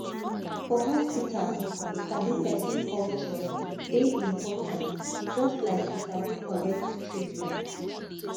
for hospital to sabi person culture dey important just like to sabi correct treatment